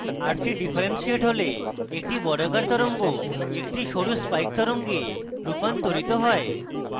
rc differentiate হলে একটি বর্গাকার তরঙ্গ একটি সরু spikes তরঙ্গে রুপান্তরিত হয়